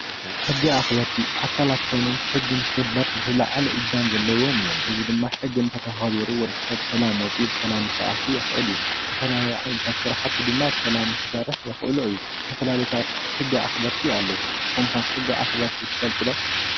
ሕጊ ኣክበርቲ ኣካለት ኮይኖም ሕጊ ንክክበር ዝለዓለ እጃም ዘለዎም እዮም፡፡ እዚ ድማ ሕጊ እንተተከቢሩ ወዲ ሰብ ብሰላም ወፂኡ ብሰላም ክኣቱው የክእል እዩ፡፡ ዝተፈላላየ ዓይነታት ስራሕቲ ድማ ብሰላም ንክሰርሕ ክየእሎ እዩ፡፡ ዝተፈላለዩ ሕጊ ኣከበርቲ ኣለዉ፡፡ ንስኩም ከ ሕጊ ኣክበርቲ ትፈልጡ ዶ?